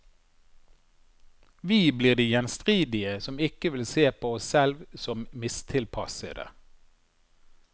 Vi blir de gjenstridige som ikke vil se på oss selv om mistilpassede.